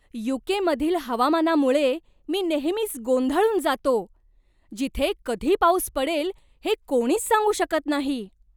You. K. मधील हवामानामुळे मी नेहमीच गोंधळून जातो, जिथे कधी पाऊस पडेल हे कोणीच सांगू शकत नाही.